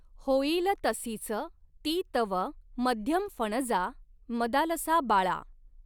होयिल तसीच ती तव मध्यमफ़णजा मदालसा बाळा.